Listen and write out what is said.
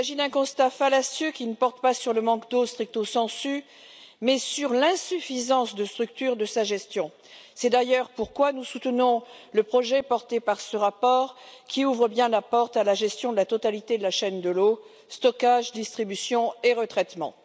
Il s'agit d'un constat fallacieux qui ne porte pas sur le manque d'eau mais sur l'insuffisance de structures de sa gestion. C'est d'ailleurs pourquoi nous soutenons le projet porté par ce rapport, qui ouvre bien la porte à la gestion de la totalité de la chaîne de l'eau, du stockage, de la distribution et du retraitement.